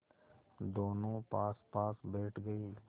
दोेनों पासपास बैठ गए